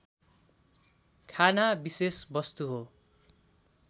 खाना विशेष वस्तु हो